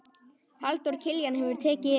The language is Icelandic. Halldór Kiljan hefur tekið yfir.